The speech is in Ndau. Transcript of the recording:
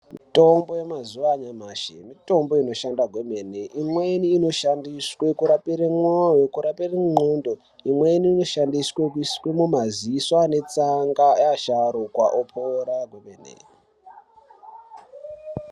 Mitombo yemazuva anyamashi mitombo inoshanda kwemene. Imweni inoshandiswa kurapira mwoyo kurapira ngendxondo. Imweni inoshandiswa kuiswa mumaziso ane tsanga evasharukwa otopora kwemene.